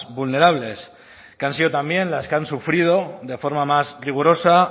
vulnerables que han sido también las que han sufrido de forma más rigurosa